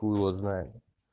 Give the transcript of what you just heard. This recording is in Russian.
хуй его знает